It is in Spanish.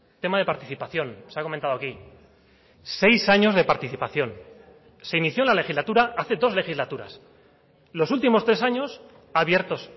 tema de participación se ha comentado aquí seis años de participación se inició la legislatura hace dos legislaturas los últimos tres años abiertos